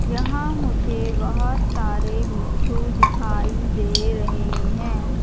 यहां मुझे बहुत सारे मिट्ठू दिखाई दे रहे हैं।